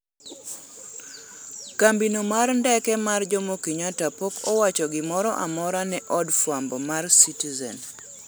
kambino mar ndeke mar jomokenyatta pok owacho gimoro amora ne od fwambo mar citizen